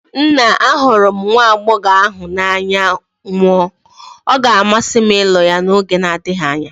Nna, ahụrụ m nwa agbọghọ ahụ n'anya nwụọ, ọ ga-amasị m ịlụ ya n'oge na-adịghị anya.